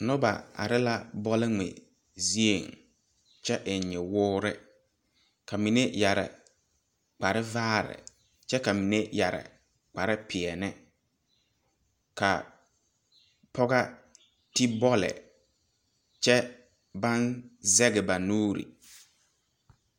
Nobɔ are la bɔlngmɛ zieŋ kyɛ eŋ nyowoore ka mine yɛre kpare vaare kyɛ ka mine yɛre kparepeɛɛli ka pɔga te bɔlle kyɛ baŋ zege ba nuure.